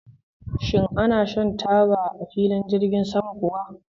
Shin ana shan taba a filin jirgin sama kuwa?